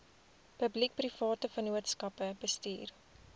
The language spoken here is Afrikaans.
publiekeprivate vennootskappe bestuur